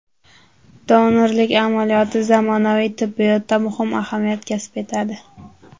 Donorlik amaliyoti zamonaviy tibbiyotda muhim ahamiyat kasb etadi.